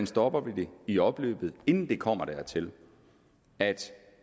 stopper det i opløbet inden det kommer dertil at